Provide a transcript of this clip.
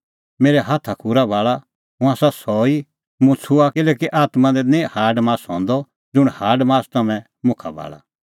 मेरै हाथाखूरा भाल़ा हुंह आसा सह ई मुंह छुंआं किल्हैकि आत्मां दी निं हाडमास हंदअ ज़ुंण हाडी मासा तम्हैं मुखा भाल़ा